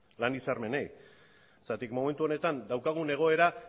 zergatik momentu honetan daukagun egoera